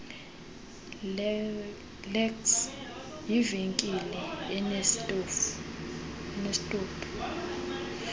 lecs yivenkile enesitophu